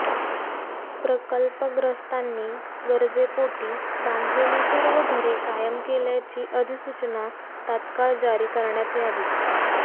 प्रकल्पग्रस्तांनी गरजेपोटी बांधलेली सर्व घरे कायम केल्याची अधिसूचना तात्काळ जारी करण्यात यावी